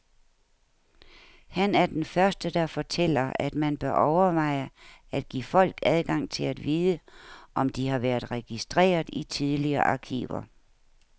Han er den første der fortæller, at man bør overveje at give folk adgang til at vide, om de har været registreret i tidligere arkiver.